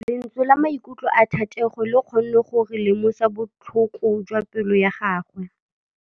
Lentswe la maikutlo a Thategô le kgonne gore re lemosa botlhoko jwa pelô ya gagwe.